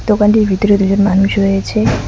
দোকানটির ভিতরে দুজন মানুষ রয়েছে।